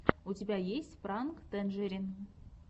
у тебя есть пранк тэнджерин